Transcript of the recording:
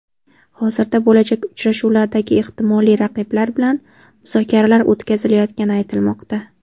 Hozirda bo‘lajak uchrashuvlardagi ehtimoliy raqiblar bilan muzokaralar o‘tkazilayotgani aytilmoqda.